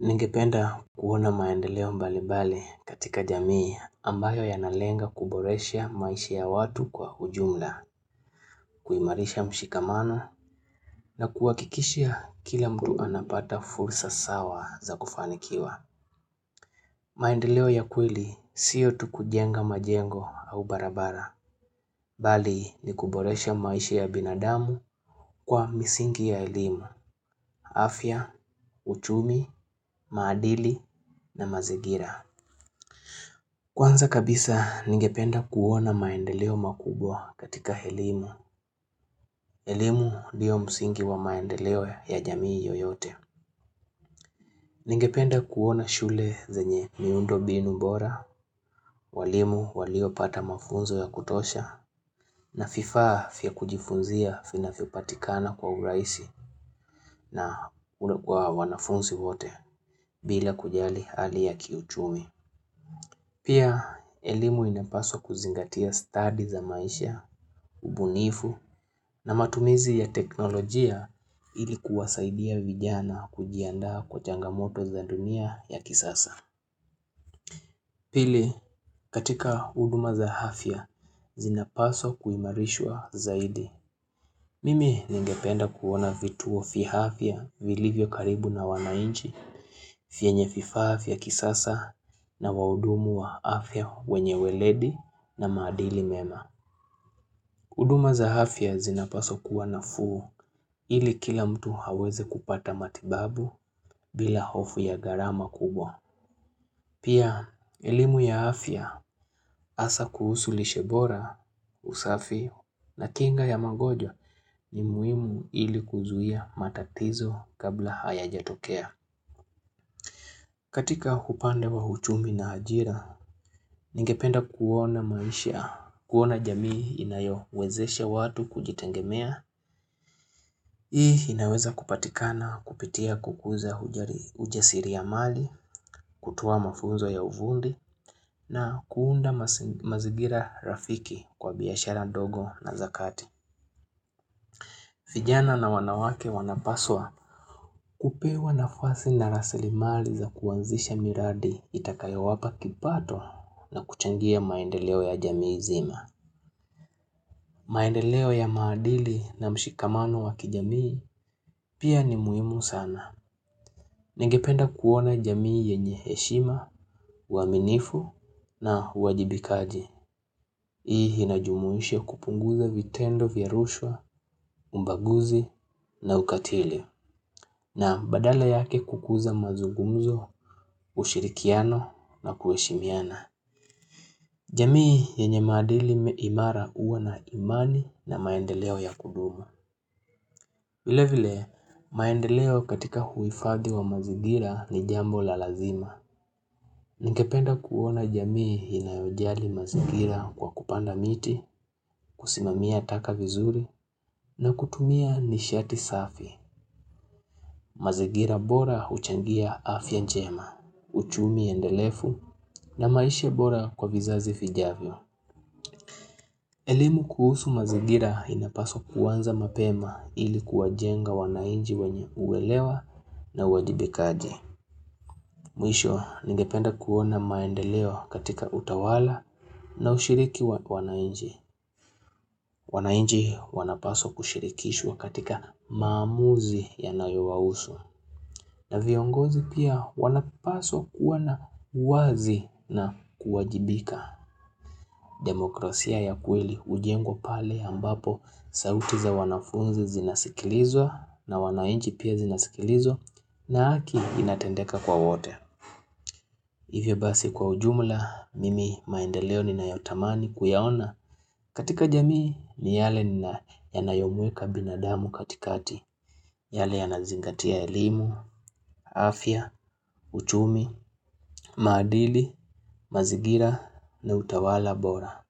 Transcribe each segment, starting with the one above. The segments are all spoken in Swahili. Ningependa kuona maendeleo mbalibali katika jamii ambayo yanalenga kuboresha maisha ya watu kwa ujumla, kuimarisha mshikamano na kuwakikishia kila mtu anapata fursa sawa za kufanikiwa. Maendeleo ya kweli siyo tukujenga majengo au barabara, bali ni kuboresha maisha ya binadamu kwa misingi ya elimu, afya, uchumi, maadili na mazingira. Kwanza kabisa ningependa kuona maendeleo makubwa katika elimu. Elimu ndiyo msingi wa maendeleo ya jamii yoyote. Ningependa kuona shule zenye miundo mbinu bora, walimu walio pata mafunzo ya kutosha, na vifaa vya kujifunzia vinavyopatikana kwa urahisi na ule kwa wanafunzi wote bila kujali hali ya kiuchumi. Pia, elimu inapaswa kuzingatia study za maisha, ubunifu na matumizi ya teknolojia ilikuwasaidia vijana kujianda kwa changamoto za dunia ya kisasa. Pili, katika huduma za afya, zinapaswa kuimarishwa zaidi. Mimi ningependa kuona vituo vya afya vilivyo karibu na wanachi, vyenye vifaa vya kisasa na wahudumu wa afya wenye ueledi na maadili mema. hUduma za afya zinapaswa kuwa nafuu ili kila mtu aweze kupata matibabu bila hofu ya gharama kubwa. Pia, elimu ya afya asa kuhusu lishebora usafi na kinga ya magojwa ni muhimu ili kuzuia matatizo kabla hajatokea. Katika upande wa uchumi na ajira, ningependa kuona maisha, kuona jamii inayowezesha watu kujitengemea. Hii inaweza kupatikana kupitia kukuza ujasiliamali, kutoa mafunzo ya ufundi na kuunda mazingira rafiki kwa biashara ndogo na zakati. Vijana na wanawake wanapaswa kupewa nafasi na rasili mali za kuanzisha miradi itakayo wapa kipato na kuchangia maendeleo ya jamii nzima. Maendeleo ya maadili na mshikamano wa kijamii pia ni muhimu sana. Ningependa kuona jamii yenye heshima, uaminifu na uwajibikaji. Hii inajumuisha kupunguza vitendo, vya rushwa, ubaguzi na ukatili. Na badala yake kukuza mazungumzo, ushirikiano na kueshimiana. Jamii yenye maadili imara uwa na imani na maendeleo ya kudumu. Vile vile, maendeleo katika huifadhi wa mazigira ni jambo la lazima. Ningependa kuona jamii inayojali mazingira kwa kupanda miti, kusimamia taka vizuri na kutumia nishati safi. Mazingira bora uchangia afya njema, uchumi endelevu na maisha bora kwa vizazi vijavyo. Elimu kuhusu mazingira inapaswa kuanza mapema ilikuwa jenga wananchi wenye uelewa na uwajibikaji. Mwisho ningependa kuona maendeleo katika utawala na ushiriki wa wananchi. Wanachi wanapaswa kushirikishwa katika maamuzi yanayo wahusu. Na viongozi pia wanapaswa kuwa na uwazi na kuwajibika. Demokrasia ya kweli ujengwa pale ambapo sauti za wanafunzi zinasikilizwa na wananchi pia zinasikilizwa na haki inatendeka kwa wote Hivyo basi kwa ujumla mimi maendeleo ni na yotamani kuyaona katika jamii ni yale ni yana yomuweka binadamu katikati yale ya nazingatia elimu, afya, uchumi, maadili, mazingira na utawala bora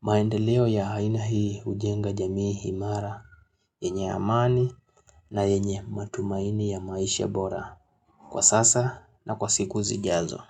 maendeleo ya aina hii ujenga jamii imara, yenye amani na yenye matumaini ya maisha bora. Kwa sasa na kwa siku zi jazo.